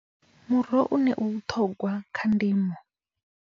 Muroho une u vhuṱongwa kha ndimo.